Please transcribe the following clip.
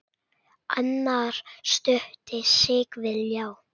Annar studdi sig við ljá.